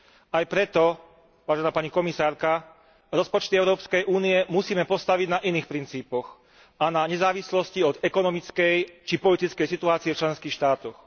Aj preto, vážená pani komisárka, rozpočty Európskej únie musíme postaviť na iných princípoch a na nezávislosti od ekonomickej či politickej situácie v členských štátoch.